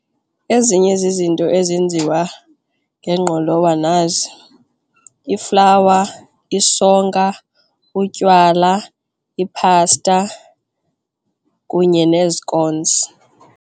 Ezinye zizinto ezinzima ngengqolowa nazi, iflawa, isonka, utywala, iphasta kunye nezikonzi.